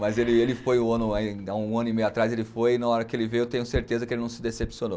Mas ele ele foi um ano aí, um ano e meio atrás, ele foi e na hora que ele veio eu tenho certeza que ele não se decepcionou.